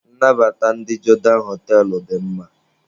Nnabata ndị Jodan họtelụ dị mma.